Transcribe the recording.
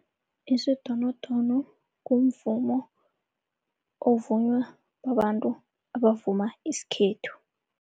Isidonodono mvumo ovunywa babantu abavuma isikhethu.